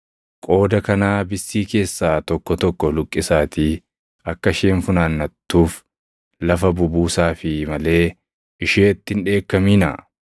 Qooda kanaa bissii keessaa tokko tokko luqqisaatii akka isheen funaannatuuf lafa bubuusaafii malee isheetti hin dheekkaminaa.”